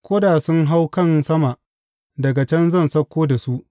Ko da sun hau can sama daga can zan sauko da su.